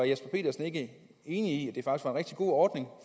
jesper petersen ikke enig i at rigtig god ordning